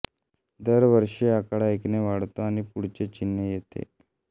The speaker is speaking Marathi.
दर दिवशी आकडा एकने वाढतो आणि पुढचे चिन्ह येते